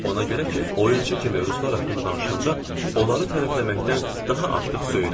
Ona görə ki, oyunçu kimi ruslar haqqında danışanda onları tərəfləməkdən daha artıq söyürəm.